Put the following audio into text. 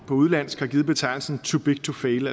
udenlandsk har givet betegnelsen too big to fail